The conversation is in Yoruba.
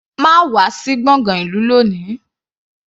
Má wà sí gbọ̀ngán ìlú lóni.